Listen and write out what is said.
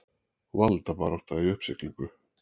Valdabarátta í uppsiglingu